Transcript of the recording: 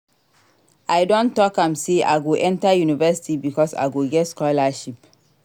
I don tok am sey I go enta university because I go get scholarship.